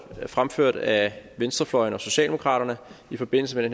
fremført af venstrefløjen og socialdemokraterne i forbindelse med